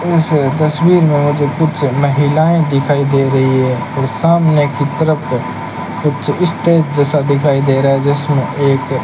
इस तस्वीर में मुझे कुछ महिलाएं दिखाई दे रही है और सामने की तरफ कुछ स्टेज जैसा दिखाई दे रहा है जिसमें एक --